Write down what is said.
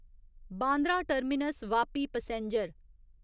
Bandra terminus Vapi passenger